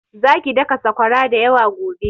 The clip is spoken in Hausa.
Zaki daka saƙwara da yawa gobe!